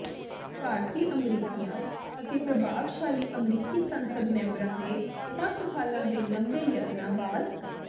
ਭਾਰਤੀ ਅਮਰੀਕੀਆਂ ਅਤੇ ਪ੍ਰਭਾਵਸ਼ਾਲੀ ਅਮਰੀਕੀ ਸੰਸਦ ਮੈਂਬਰਾਂ ਦੇ ਸੱਤ ਸਾਲਾਂ ਦੇ ਲੰਬੇ ਯਤਨਾਂ ਬਾਅਦ